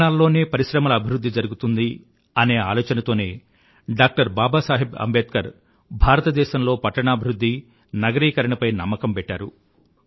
పట్టణాలలోనే పరిశ్రమల అభివృధ్ధి జరుగుతుంది అనే ఆలోచన తోనే డాక్టర్ బాబా సాహెబ్ అంబేద్కర్ భారతదేశంలో పట్టణాభివృధ్ధి నగరీకరణ పై నమ్మకం పెట్టారు